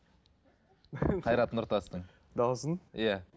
қайрат нұртастың дауысын иә